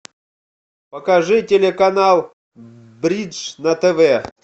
покажи телеканал бридж на тв